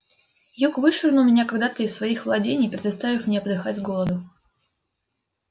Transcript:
юг вышвырнул меня когда-то из своих владений предоставив мне подыхать с голоду